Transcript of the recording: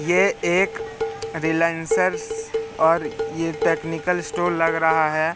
ये एक रिलेयंसस और ये टेक्निकल स्टोर लग रहा है।